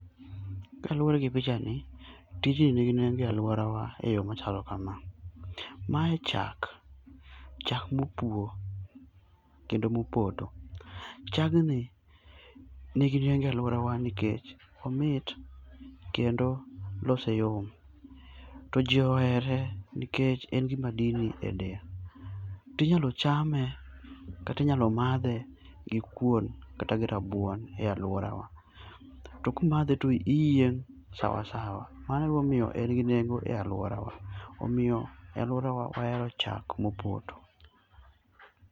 Kaluwore gi pichani, tijni nigi nengo e aluorawa eyo machalo kama, mae chak, chak mopuo kendo mopoto. Chagni nigi nengo e aluorawa nikech omit kendo lose yom. To ji ohere nikech en gi madini eiye. To inyalo chame kata inyalo madhe gi kuon kata gi rabuon e aluorawa. To komadhe to iyieng' sawa sawa mano emomiyo en gi nengo e aluorawa. Omiyo e aluorawa wahero chak mopoto.